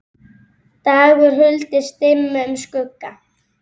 dagur huldist dimmum skugga